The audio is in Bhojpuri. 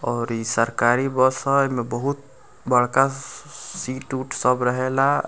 और इ सरकारी बस ह एमें बहुत बड़का सीट - उट सब रहेला।